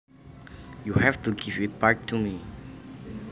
You have to give it back to me